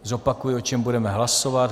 Zopakuji, o čem budeme hlasovat.